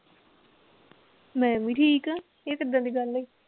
ਮੈ ਵੀ ਠੀਕ ਆ ਇਹ ਕਿੱਦਾਂ ਦੀ ਗੱਲ ਹੋਈ।